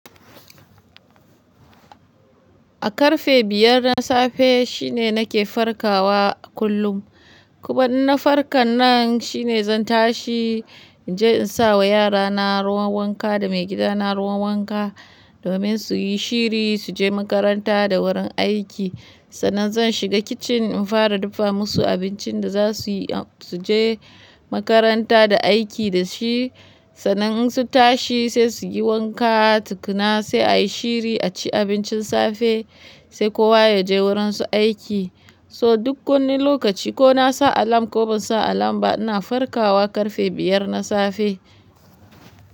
A karfe biyar na safe shine nake farkawa kullum. Ku ma in na farkan nan shine zan tashi in je in sa wa yarana ruwan wanka da maigidana ruwan wanka domin su yi shiri su je makaranta da wurin aiki. Sannan zan shiga kicin in fara dafa musu abincin da za su yi a su je makaranta da aiki da shi. Sannan in sun tashi sai su yi wanka tukuna sai a yi shiri a ci abincin safe sai kowa ya je wurinsa aiki. So duk wani lokaci ko na sa alarm ko ban sa alarm ba ina farkawa karfe biyar na safe.